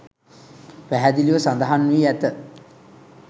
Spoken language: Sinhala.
පැහැදිලිව සඳහන් වී ඇත